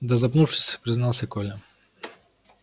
да запнувшись признался коля